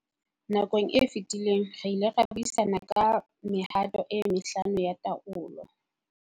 Nakong e fetileng re ile ra buisana ka mehato e mehlano ya taolo.